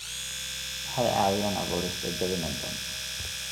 Waxay caawiyaan abuurista jawi nabdoon.